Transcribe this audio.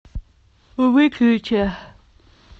выключи